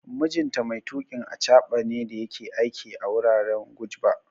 Mijinta mai tuƙin achaɓa ne da yake aiki a wuraren Gujba